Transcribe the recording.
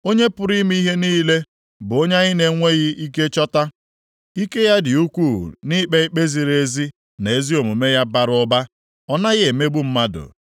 Onye pụrụ ime ihe niile bụ onye anyị na-enweghị ike chọta. Ike ya dị ukwuu, nʼikpe ikpe ya ziri ezi na ezi omume ya bara ụba, ọ naghị emegbu mmadụ.